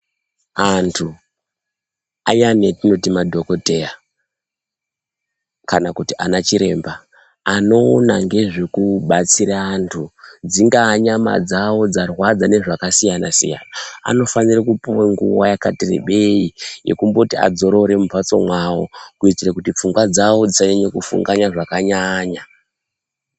Antu ayani atinoti madhokoteya kana kuti ana chiremba anoona ngezvekubatsira antu dzingaa nyama dzavo dzarwadza ngezvakasiyana-siyana. Anofanire kupuva nguva yakati rebei yekumboti adzorore mumhatso mwavo. Kuitire kuti pfungwa dzavo dzisanyanye kufunganya zvakanyanya.